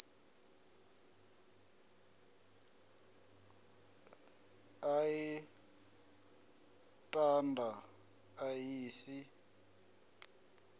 i ḽa thanda ḽa si